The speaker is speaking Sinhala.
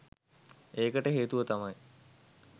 ඒකට හේතුව තමයි